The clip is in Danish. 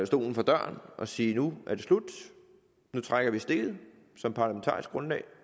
stolen for døren og sige at nu er det slut nu trækker man stikket som parlamentarisk grundlag